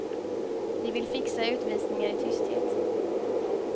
De vill fixa utvisningar i tysthet.